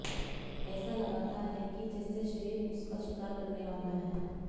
ऐसा लगाता है कि जैसे शेर उसका शिकार करने वाला है